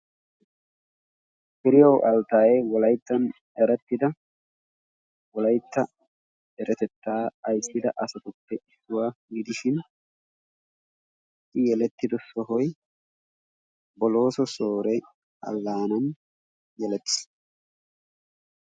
Firiyaw altaye wolayittan erettida wolayitta deretettaa ayissida asatuppe issuwaa gidishin i yelettido sohoy bolooso soore allaanan yelettiis.